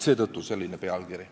Seetõttu selline pealkiri.